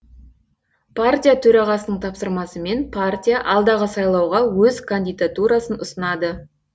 партия төрағасының тапсырмасымен партия алдағы сайлауға өз кандидатурасын ұсынады